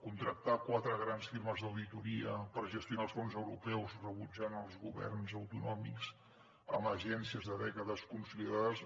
contractar quatre grans firmes d’auditoria per gestionar els fons europeus rebutjant els governs autonòmics amb agències de dècades consolidades